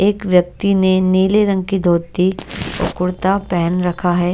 एक व्यक्ति ने नीले रंग की धोती और कुर्ता पहन रखा है।